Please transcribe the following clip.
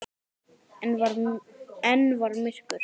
Enn var myrkur.